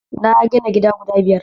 na gina gida guda biyar